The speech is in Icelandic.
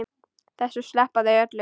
Þessu sleppa þau öllu.